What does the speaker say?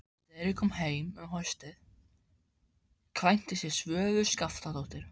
Þegar ég kom heim um haustið kvæntist ég Svövu Skaftadóttur.